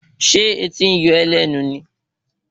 Ṣé etí ń yọ́ ó lẹ́nu ni